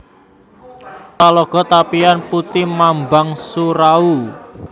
Talago Tapian Puti Mambang Surau